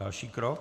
Další krok?